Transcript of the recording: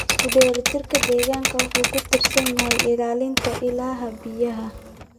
Isku dheelitirka deegaanka wuxuu ku tiirsan yahay ilaalinta ilaha biyaha.